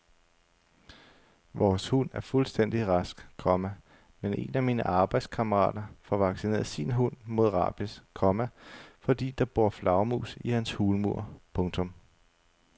Vores hund er fuldstændig rask, komma men en af mine arbejdskammerater får vaccineret sin hund mod rabies, komma fordi der bor flagermus i hans hulmur. punktum